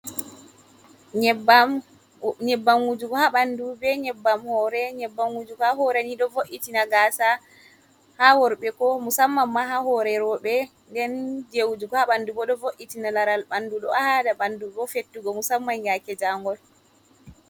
Nyebbam, nyebbam wujugo ha ɓandu be nyebbam hore. Nyebbam wujugo ha hore ni ɗo vo'itina gasa ha worɓe, ko musamman ma ha hore rowɓe. Nden jei wujugo ha ɓandu bo ɗo vo’itina laral ɓandu. Ɗo haɗa ɓandu bo fettugo musamman yaake jaangol.